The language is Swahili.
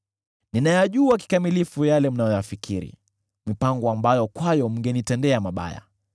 “Ninayajua kikamilifu yale mnayoyafikiri, mipango ambayo kwayo mngenitendea mabaya.